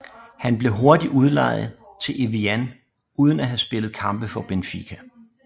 Han blev hurtigt udlejet til Evian uden at have spillet kampe for Benfica